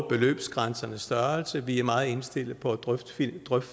beløbsgrænsernes størrelse og vi er meget indstillet på at drøfte